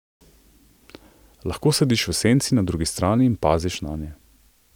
Lahko sediš v senci na drugi strani in paziš nanje.